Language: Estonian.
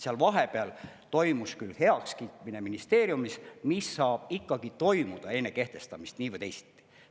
Seal vahepeal toimus küll heakskiitmine ministeeriumis, mis saab ikkagi toimuda enne kehtestamist nii või teisiti.